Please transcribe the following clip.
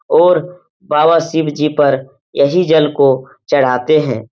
और बाबा शिवजी पर यही जल को चडाते हैं।